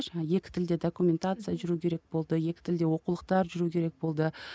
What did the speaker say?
жаңа екі тілде документация жүру керек болды екі тілде оқулықтар жүру керек болды